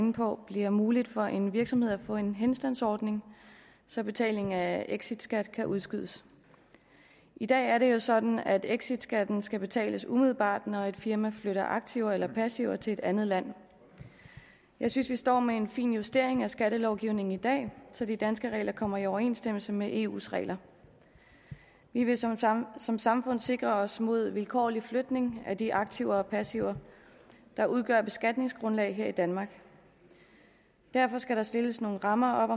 inde på bliver muligt for en virksomhed at få en henstandsordning så betalingen af exitskat kan udskydes i dag er det jo sådan at exitskatten skal betales umiddelbart når et firma flytter aktiver eller passiver til et andet land jeg synes vi står med en fin justering af skattelovgivningen i dag så de danske regler kommer i overensstemmelse med eus regler vi vil som samfund samfund sikre os mod vilkårlig flytning af de aktiver og passiver der udgør beskatningsgrundlag her i danmark derfor skal der stilles nogle rammer op